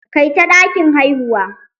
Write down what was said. Kaita ɗakin haihuwa!